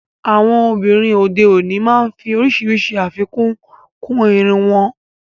Àwọn obìnrin òde òní máa ń fí oríṣiríṣi afíkún kún ìrún wọn.